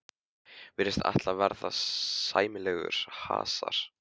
Virðist ætla að verða sæmilegur hasar.